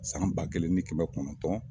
San ba kelen ni kɛmɛ kɔnɔntɔn